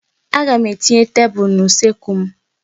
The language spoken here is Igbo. Aga m etinye tebụl n'usekwu m.